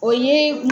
O ye